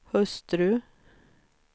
hustru